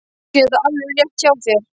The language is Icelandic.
Kannski er þetta alveg rétt hjá þér.